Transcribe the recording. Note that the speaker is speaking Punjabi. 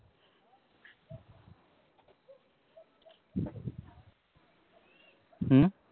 ਹੂ